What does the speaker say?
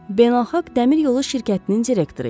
Beynəlxalq Dəmiryolu Şirkətinin direktoru idi.